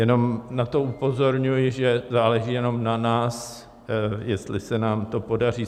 Jenom na to upozorňuji, že záleží jenom na nás, jestli se nám to podaří.